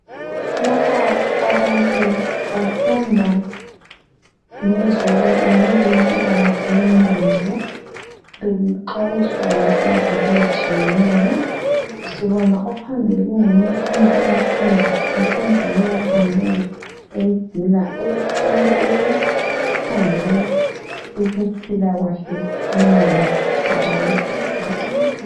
Lapha abantu bafunda ngezo ngezempilakahle yengqondo, bexwayiswa ngezinto ezitshiyeneyo. Sibona ophambili kunguye okhanya ebafundisa esenza leyo khampeyini egqila e ekhangele ukuphilakwahle kwengqondo yabantu.